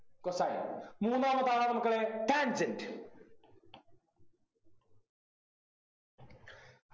cosine മൂന്നാമത്താളാണ് മക്കളെ Tangent